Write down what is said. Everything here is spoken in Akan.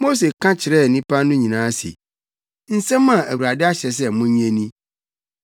Mose ka kyerɛɛ nnipa no nyinaa se, “Nsɛm a Awurade ahyɛ sɛ monyɛ ni: